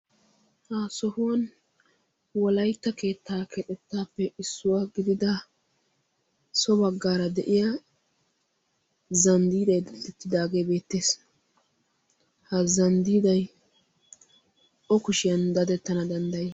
ha sohuwan wolaytta keettaa keexettaappe issuwaa gidida so baggaara de'iya zanddiidai daetettidaagee beettees ha zanddiiday o kushiyan dadettana danddayi